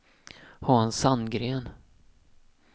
Hans Sandgren